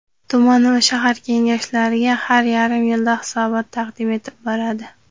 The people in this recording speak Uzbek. tuman va shahar Kengashlariga har yarim yilda hisobot taqdim etib boradi;.